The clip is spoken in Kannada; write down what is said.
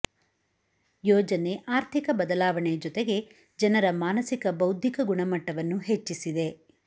ಯೋಜನೆ ಆರ್ಥಿಕ ಬದಲಾವಣೆ ಜೊತೆಗೆ ಜನರ ಮಾನಸಿಕ ಬೌದ್ಧಿಕ ಗುಣಮಟ್ಟವನ್ನು ಹೆಚ್ಚಿಸಿದೆ